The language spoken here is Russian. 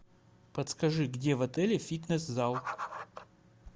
подскажи где в отеле фитнес зал